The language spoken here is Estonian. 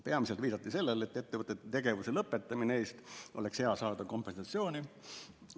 Peamiselt viidati sellele, et ettevõtete tegevuse lõpetamise eest oleks hea saada kompensatsiooni.